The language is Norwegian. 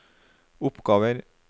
oppgaver